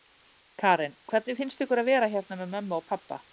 Karen: Hvernig finnst ykkur að vera hérna með mömmu og pabba?